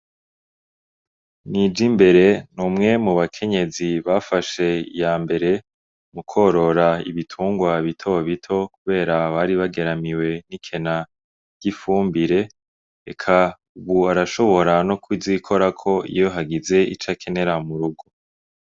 Nijimbere ni umwe mu bakenyezi bafashe iya mbere mukworora ibitungwa bitobito kubera bari bageramiwe n'ikena ry'ifumbire. Eka ubu arashobora no kuzikorako iyo hageze ico akenera mu rugo.